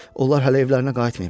Onlar hələ evlərinə qayıtmayıblar.